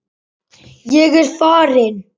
Ég er farinn.